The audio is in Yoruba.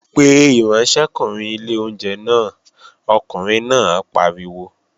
Pe ìránṣẹ́kùnrin ilé oúnjẹ náà, ọkùnrin náà pariwo!